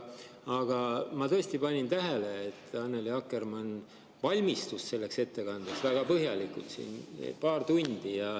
Aga ma tõesti panin tähele, et Annely Akkermann valmistus selleks ettekandeks väga põhjalikult siin paar tundi.